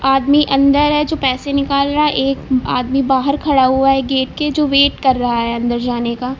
आदमी अंदर है जो पैसे निकाल रहा है एक आदमी बाहर खड़ा हुआ है गेट के जो वेट कर रहा है अंदर जाने का।